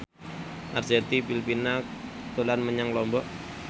Arzetti Bilbina dolan menyang Lombok